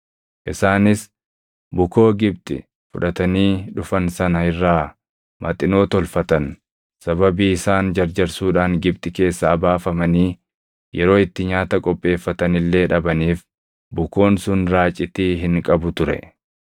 Isaanis bukoo Gibxi fudhatanii dhufan sana irraa Maxinoo tolfatan. Sababii isaan jarjarsuudhaan Gibxi keessaa baafamanii yeroo itti nyaata qopheeffatan illee dhabaniif bukoon sun raacitii hin qabu ture.